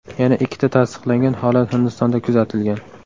Yana ikkita tasdiqlangan holat Hindistonda kuzatilgan.